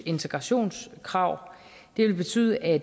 integrationskrav det vil betyde at